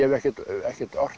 ekkert ekkert ort